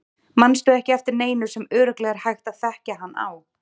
Manstu ekki eftir neinu sem örugglega er hægt að þekkja hann á?